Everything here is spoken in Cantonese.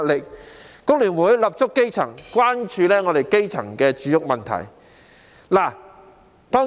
香港工會聯合會立足基層，關注基層的住屋問題。